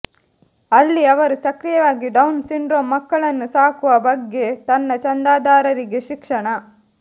ಅಲ್ಲಿ ಅವರು ಸಕ್ರಿಯವಾಗಿ ಡೌನ್ ಸಿಂಡ್ರೋಮ್ ಮಕ್ಕಳನ್ನು ಸಾಕುವ ಬಗ್ಗೆ ತನ್ನ ಚಂದಾದಾರರಿಗೆ ಶಿಕ್ಷಣ